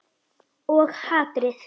Og hatrið.